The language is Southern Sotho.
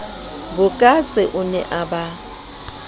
bokatse o ne a ba